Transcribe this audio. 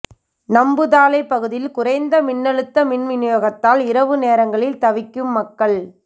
நம்புதாளை பகுதியில் குறைந்தழுத்த மின் வினியோகத்தால் இரவு நேரங்களில் தவிக்கும் மக்கள்